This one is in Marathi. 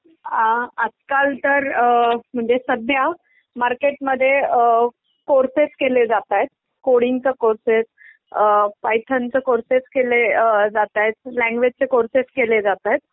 अ आजकाल तर म्हणजे सध्या मार्केट मध्ये अ अ कोर्सेस केले जातायेत, कोडिंग च कोर्सेस, पायथन च कोर्सेस केले जातायेत, लँग्युएज चे कोर्सेस केले जातायेत.